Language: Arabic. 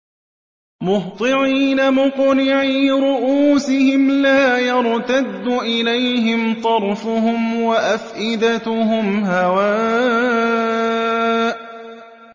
مُهْطِعِينَ مُقْنِعِي رُءُوسِهِمْ لَا يَرْتَدُّ إِلَيْهِمْ طَرْفُهُمْ ۖ وَأَفْئِدَتُهُمْ هَوَاءٌ